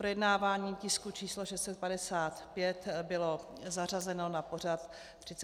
Projednávání tisku číslo 655 bylo zařazeno na pořad 36. schůze.